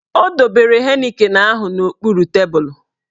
Ọ dobere Heineken ahụ n'okpuru tebulu